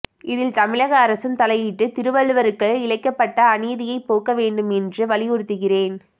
இதில் தமிழக அரசும் தலையிட்டு திருவள்ளுவருக்கு இழைக்கப்பட்ட அநீதியை போக்க வேண்டும் என்று வலியுறுத்துகிறேன்